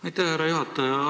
Aitäh, härra juhataja!